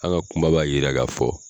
An ka kuma b'a yira ka fɔ